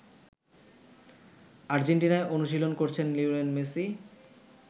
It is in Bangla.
আর্জেন্টিনায় অনুশীলন করছেন লিওনেল মেসি।